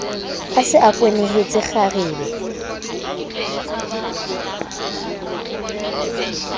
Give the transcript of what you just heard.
a se a kwenehetse kgarebe